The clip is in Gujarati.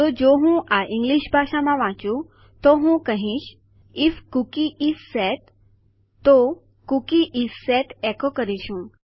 તો જો હું આ ઇંગલિશ ભાષામાં વાંચું તો હું કહીશ જો કૂકી નામ સુયોજિત છે તો કૂકી ઇસ સેટ એકો કરીશું